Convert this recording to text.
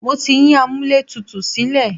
Mo ti yín amúlẹ̀tutù sílẹ̀.